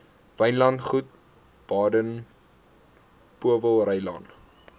wynlandgoed baden powellrylaan